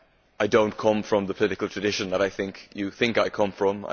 I do not come from the political tradition that I think you think I come from.